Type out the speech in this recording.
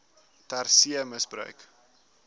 ter see misbruik